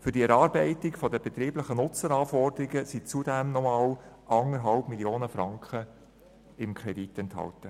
Für die Erarbeitung der betrieblichen Nutzeranforderungen sind zudem nochmals 1,5 Mio. Franken im Kredit enthalten.